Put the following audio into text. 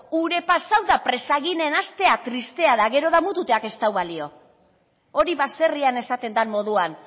ura pasatu eta presak egiten hastea tristea da gero damutzeak ez du balio hori baserrian esaten den moduan